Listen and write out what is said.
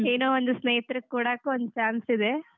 ಏನೋ ಒಂದೂ ಸ್ನೇಹಿತರು ಕೂಡಕು ಒಂದ್ chance ಇದೆ.